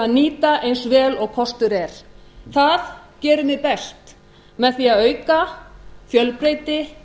að nýta eins vel og kostur er það gerum við best með því að auka fjölbreytileika